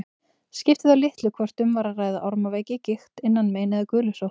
Skipti þá litlu hvort um var að ræða ormaveiki, gigt, innanmein eða gulusótt.